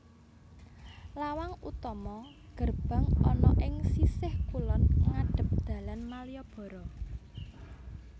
Lawang utama gerbang ana ing sisih kulon ngadhep dalan Malioboro